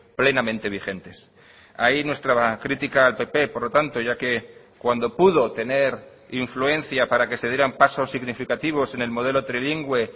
plenamente vigentes ahí nuestra crítica al pp por lo tanto ya que cuando pudo tener influencia para que se dieran pasos significativos en el modelo trilingüe